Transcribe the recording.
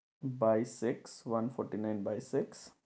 By six one forty nine by six